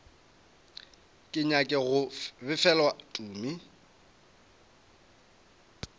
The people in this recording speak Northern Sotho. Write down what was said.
ke nyake go befelwa tumi